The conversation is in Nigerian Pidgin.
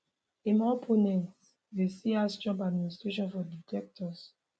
im opponents dey see as trump admiration for dictators